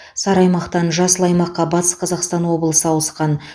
сары аймақтан жасыл аймаққа батыс қазақстан облысы ауысқан